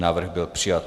Návrh byl přijat.